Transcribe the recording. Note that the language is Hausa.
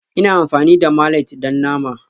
Ina amfani da mallet don nama